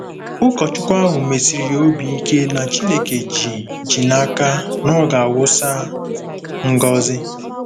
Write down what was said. Ụkọchukwu ahụ mesiri ya obi ike na Chineke ji ji n'aka na ọ ga-awụsa ngọzi.